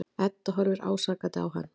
Edda horfir ásakandi á hann.